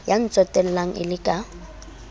ya ntsotellang e le ka